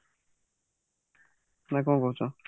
ନା କଣ କହୁଛ